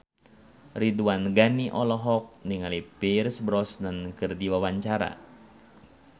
Ridwan Ghani olohok ningali Pierce Brosnan keur diwawancara